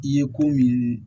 I ye ko min